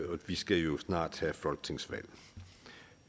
og vi skal jo snart have et folketingsvalg